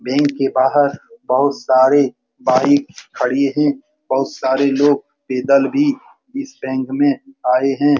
Bank के बाहर बोहोत सारे बाइक खड़ी है। बोहोत सारे लोग पैदल भी इस बैंक में आए हैं।